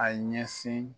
A ye ɲɛsin